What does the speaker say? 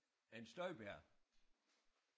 En Støjberg